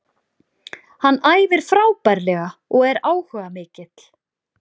Hann æfir frábærlega og er áhugamikill.